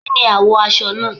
Kí ni àwọ̀ aṣọ náà?